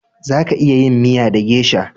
Za ki iya yin miya da gesha